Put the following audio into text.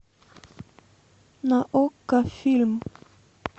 на окко фильм